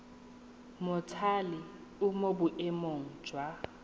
mothale o mo boemong jwa